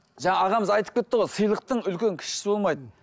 жаңа ағамыз айтып кетті ғой сыйлықтың үлкен кішісі болмайды